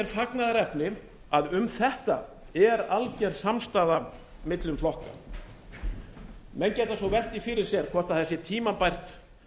fagnaðarefni að um þetta er alger samstaða milli flokka menn geta svo velt því fyrir sér hvort það sé tímabært